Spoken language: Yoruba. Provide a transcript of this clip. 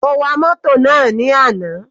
Mo wa mótò náà ní àná.